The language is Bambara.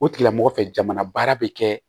O tigilamɔgɔ fɛ jamana baara bɛ kɛ